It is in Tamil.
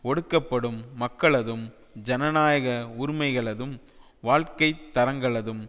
ஒடுக்கப்படும் மக்களதும் ஜனநாயக உரிமைகளதும் வாழ்க்கை தரங்களதும்